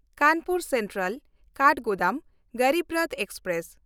Kanpur ᱥᱮᱱᱴᱨᱟᱞ–ᱠᱟᱴᱷᱜᱳᱫᱟᱢ Garib Rath express